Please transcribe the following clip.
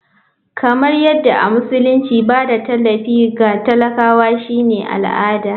Kamar yadda a musulunci ba da tallafi ga talakawa shine al'ada.